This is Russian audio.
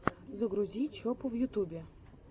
загрузи чопу в ютубе